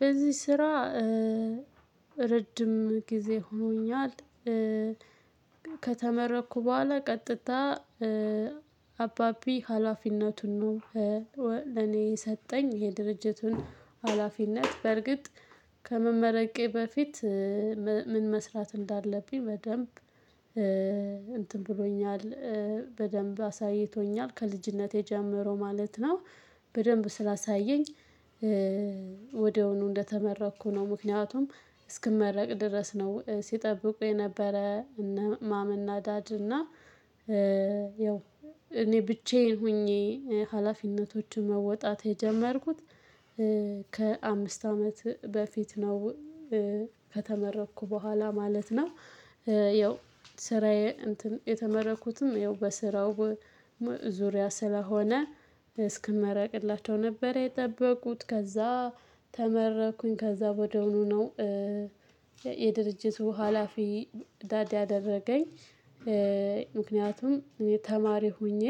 በዚህ ስራ ረጅም ጊዜ ሆኖኛል። ከተመረኩ በኋላ ቀጥታ አባቢ ሀላፊነቱን ነው። ለኔ ሰጠኝ የድርጅቱን ሀላፊነት። በርግጥ ከመመረቄ በፊት ምን መስራት እንዳለብኝ በደንብ እንትን ብሎኛል። በደንብ አሳይቶኛል ከልጅነቴ ጀምሮ ማለት ነው። በደንብ ስላሳየኝ ወድያዉኑ እንደተመረኩ ነው። ምክንያቱም እስክመረቅ ድረስ ነው ሲጠብቁ የነበረ። ማም እና ዳድ እና። ያው እኔ ብቻዬን ሆኜ ሀላፊነቶችን መወጣት የጀመርኩት ከአምስት አመት በፊት ነው። ከተመረኩ በኋላ ማለት ነው። ያው ስራዬ እንትን የተመረኩትም ያው በስራው ዙሪያ ስለሆነ እስክመረቅላቸው ነበር የጠበቁት። ከዛ ተመረኩኝ ከዛ ወደሆኑ ነው። የድርጅቱ ሀላፊ ዳድ ያደረገኝ። ምክንያቱም እኔ ተማሪ ሆኜ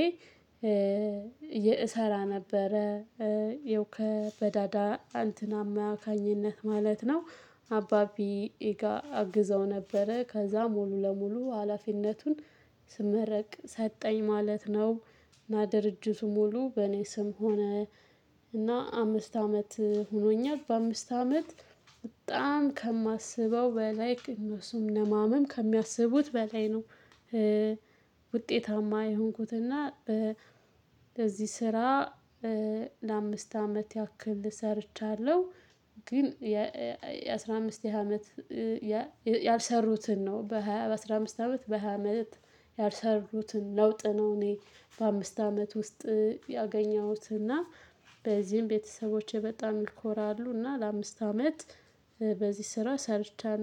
እሰራ ነበረ። የው ከ በዳድ እንትን አማካኝነት ማለት ነው። አባቢጋ አግዘው ነበረ ከዛ ሙሉ ለሙሉ ሀላፊነቱን ስመረቅ ሰጠኝ ማለት ነው። እና ድርጅቱ ሙሉ በእኔ ስም ሆነ። እና አምስት አመት ሆኖኛል በአምስት አመት በጣም ከማስበው በላይ እነሱም ለማመን ከሚያስቡት በላይ ነው። ውጤታማ የሆንኩት እና ለዚህ ስራ ለአምስት አመት ያክል ሰርቻለሁ። ግን የአሥራ አምስት አመት ያልሰሩትን ነው በሃያ በአስራ አምስት አመት በሃያ አመት ያልሰሩትን ለውጥ ነው። እኔ በአምስት አመት ውስጥ ያገኘሁት እና በዚህም ቤተሰቦቼ በጣም ይኮራሉ። እና ለአምስት አመት በዚህ ስራ ሰርቻለሁ